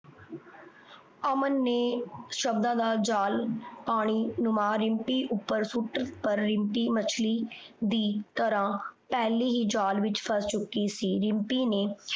ਅਮਨ ਨੇ ਸ਼ਬਦਾਂ ਦਾ ਜਾਲ ਪਾਣੀ ਰਿਮਪੀ ਉੱਪਰ ਸੂਟ ਕਰ ਰਿਮਪੀ ਮੱਛਲੀ ਦੀ ਤਰਾਂ ਪਹਿਲਾਂ ਈ ਜਾਲ ਵਿੱਚ ਫਾਸ ਚੁੱਕੀ ਸੀ ਰਿਮਪੀ ਨੇ